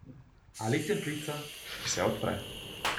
Ali cvetlica, ki se odpre.